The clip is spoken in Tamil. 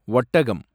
ஒட்டகம்